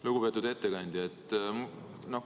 Lugupeetud ettekandja!